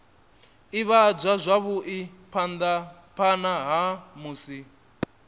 ivhadzwa zwavhui phana ha musi